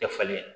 Tɛ falen